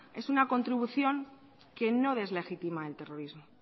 es una contribución que no deslegitima el terrorismo